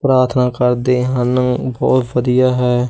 ਪ੍ਰਾਰਥਨਾ ਕਰਦੇ ਹਨ ਬਹੁਤ ਵਧੀਆ ਹੈ।